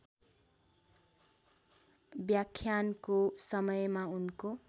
व्याख्यानको समयमा उनको